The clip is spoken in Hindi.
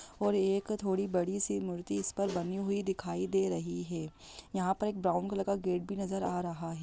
और ये एक थोड़ी बड़ी सी मूर्ति इस पर बनी हुई दिखाई दे रही है यहाँ पर एक ब्राउन कलर का गेट भी नजर आ रहा है।